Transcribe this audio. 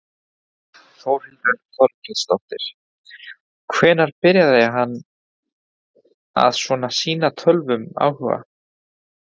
Þórhildur Þorkelsdóttir: Hvenær byrjaði hann að svona sýna tölvum áhuga?